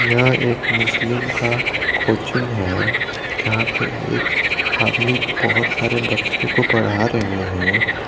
यहां एक मुस्लिम का कोचिंग है जहां पे एक आदमी बहोत सारे बच्चे को पढ़ा रहे हैं।